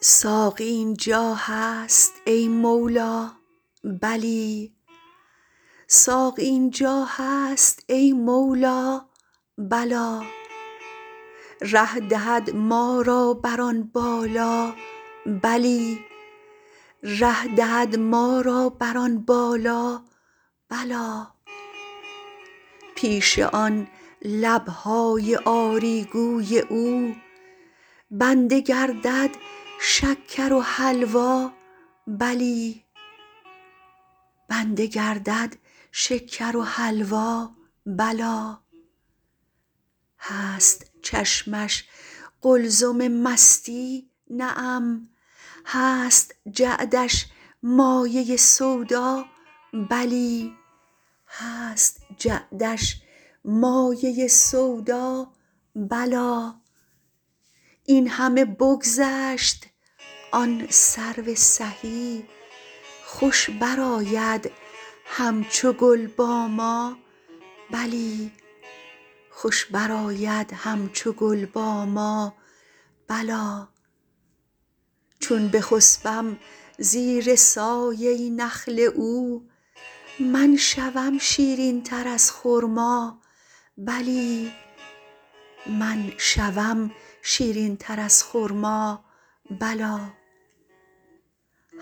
ساقی این جا هست ای مولا بلی ره دهد ما را بر آن بالا بلی پیش آن لب های آری گوی او بنده گردد شکر و حلوا بلی هست چشمش قلزم مستی نعم هست جعدش مایه سودا بلی این همه بگذشت آن سرو سهی خوش برآید همچو گل با ما بلی چون بخسبم زیر سایه نخل او من شوم شیرین تر از خرما بلی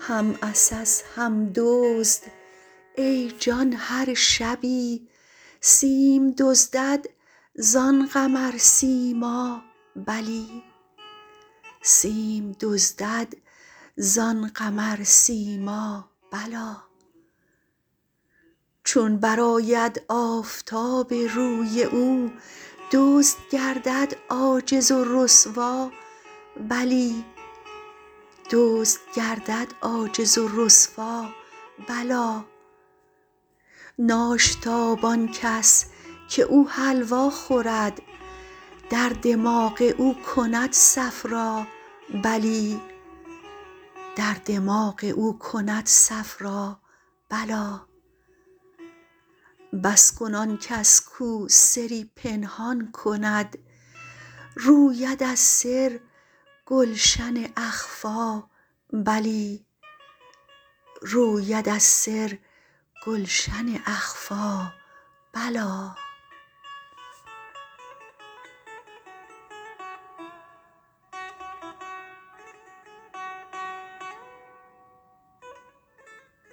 هم عسس هم دزد ای جان هر شبی سیم دزدد زان قمرسیما بلی چون برآید آفتاب روی او دزد گردد عاجز و رسوا بلی ناشتاب آن کس که او حلوا خورد در دماغ او کند صفرا بلی بس کن آن کس کو سری پنهان کند روید از سر گلشن اخفیٰ بلی